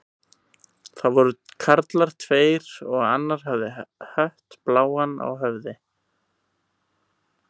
Það voru karlar tveir og hafði annar hött bláan á höfði.